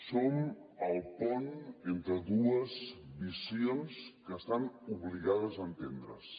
som el pont entre dues visions que estan obligades a entendre’s